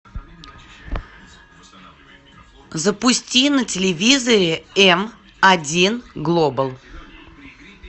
запусти на телевизоре м один глобал